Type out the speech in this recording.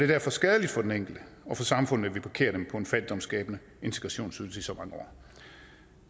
derfor skadeligt for den enkelte og for samfundet at vi parkerer dem på en fattigdomsskabende integrationsydelse i så mange år